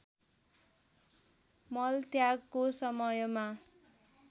मल त्यागको समयमा